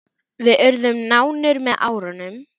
Við urðum nánir með árunum.